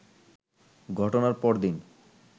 ঘটনার পরদিন